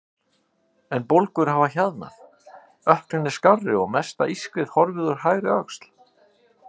En bólgur hafa hjaðnað, ökklinn er skárri og mesta ískrið horfið úr hægri öxl.